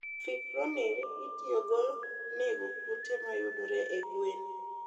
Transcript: Fipronil itiyogo nego kute mayudere e gwen.